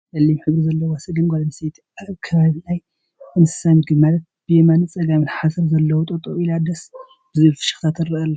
ፀሊም ሕብሪ ዘለዋ ሰገን ጓል ኣነስተይቲ ኣብ ከባቢ ናይ እንስሳ ምግቢ ማለት ብየማን ብፀጋምን ሓሰር ዘለው ጠጠው እላ ደስ ብዝብል ፍሽክታ ትረኣ ኣላ።